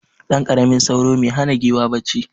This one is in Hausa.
Ɗanƙaramin sauro me hana giwa bacci.